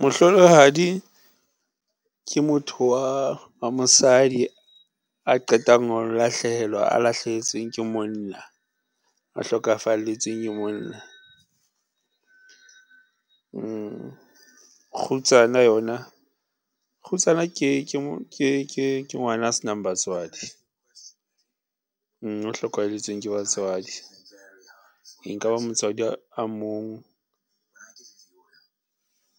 Mohlolohadi ke motho wa mosadi a qetang ho lahlehelwa, a lahlehetsweng ke monna, a hlokafalletsweng ke monna. Kgutsana yona, kgutsana ke ngwana a se nang batswadi, o hlokahalletsweng ke batswadi e nkaba motswadi a mong